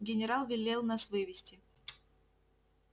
генерал велел нас вывести